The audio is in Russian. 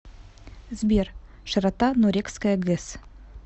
сбер широта нурекская гэс